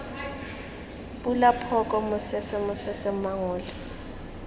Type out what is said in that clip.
pula phoka mosese mosese mangole